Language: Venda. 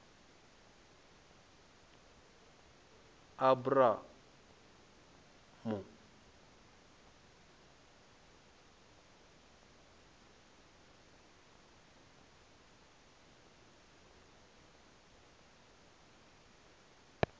abramu